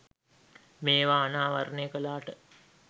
මේව අනාවරනය කලාට